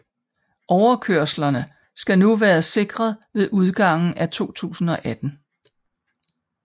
Overkørslerne skal nu være sikret ved udgangen af 2018